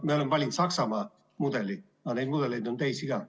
Me oleme valinud Saksamaa mudeli, aga neid mudeleid on teisi ka.